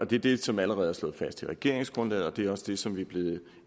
det er det som allerede er slået fast i regeringsgrundlaget og det er også det som vi er blevet